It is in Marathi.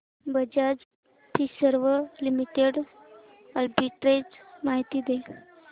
बजाज फिंसर्व लिमिटेड आर्बिट्रेज माहिती दे